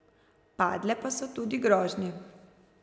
Padle pa so tudi grožnje.